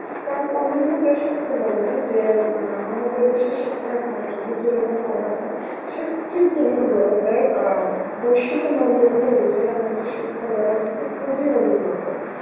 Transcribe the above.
কারণ অন্যান্য দেশের তুলনায় যে মা~ আমাদের দেশে শিক্ষার হার যদি যদি তুলনা করা হয় সে~ ঠিক মতন বলা যায় বৈশ্বিক মানদণ্ড অনুযায়ী আমাদের শিক্ষা ব্যবস্থা খুবই উন্নত